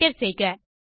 enter செய்க